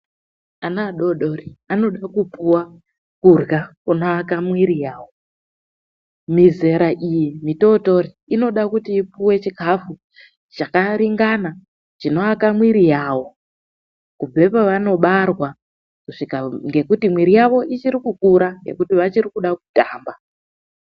Ana adoodori anoda kupuwa kurya kunoaka mwiri yawo. Mizera iyi mitootori inoda kuti ipuwe chikafu chakaringana chinoaka mwiri yawo kubve pevanobarwa kusvika , ngekuti mwiri yavo ichiri kukura ngekuti vachiri kuda kutamba